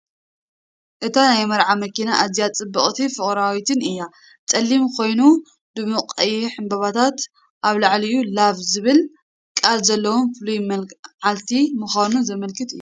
እታ ናይ መርዓ መኪና ኣዝያ ጽብቕትን ፍቕራዊትን እያ። ጸሊም ኮይኑ ድሙቕ ቀይሕ ዕምባባታትን ኣብ ልዕሊኡ "LOVE" ዝብል ቃል ዘለዎን ፍሉይ መዓልቲ ምዃኑ ዘመልክት እዩ።